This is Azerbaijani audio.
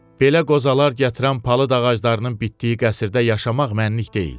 Belə qozalar gətirən palıd ağaclarının bitdiyi qəsrdə yaşamaq mənlik deyil.